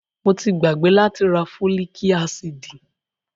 Mo ti gbàgbé láti rá fólíc ásídì.